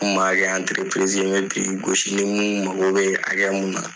N tun b'a kɛ n bɛ biriki gosi ni mun mago bɛ hakɛ mun